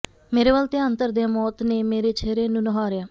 ਮੇਰੇ ਵੱਲ ਧਿਆਨ ਧਰਦਿਆਂ ਮੌਤ ਨੇ ਮੇਰੇ ਚਿਹਰੇ ਨੂੰ ਨਿਹਾਰਿਆ